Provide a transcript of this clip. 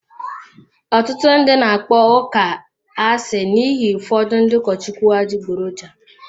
Ọtụtụ ndị na-akpọ ụka asị n'ihi ụfọdụ ndị ụkọchukwu adịgboroja.